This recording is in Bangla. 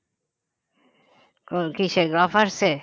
কিসে গ্রফার্সে